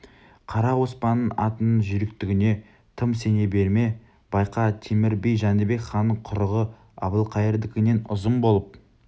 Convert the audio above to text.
қара оспанның атыңның жүйріктігіне тым сене берме байқа темір би жәнібек ханның құрығы әбілқайырдікінен ұзын болып